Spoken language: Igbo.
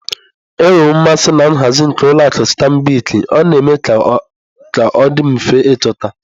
Enwere m mmasị na nhazi nke ụlọ akụ stanbịkị ,ọ na-eme ka ọ dị mfe ịchọta.